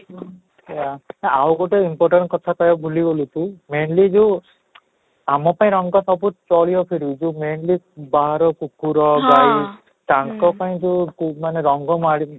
ସେଇୟା ଆଉ ଗୋଟେ important କଥା ତ ଭୁଲିଗଲୁ ତୁଇ mainly ଯୋଉ ଆମ ପାଇଁ ରଙ୍ଗ ସବୁ ବହୁତ ଚାଲିବ କିନ୍ତୁ ଯୋଉ mainly ବାହାର କୁକୁର ଗାଈ ତାଙ୍କ ପାଇଁ ଯୋଉ ମାନେ ରଙ୍ଗ ମାଳି